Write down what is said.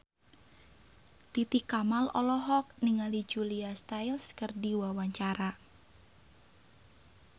Titi Kamal olohok ningali Julia Stiles keur diwawancara